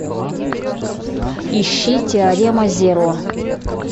ищи теорема зеро